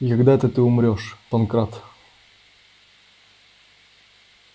и когда это ты умрёшь панкрат